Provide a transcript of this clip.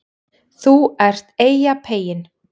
ÞÚ ERT EYJAPEYINN